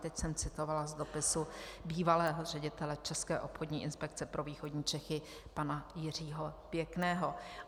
Teď jsem citovala z dopisu bývalého ředitele České obchodní inspekce pro východní Čechy pana Jiřího Pěkného.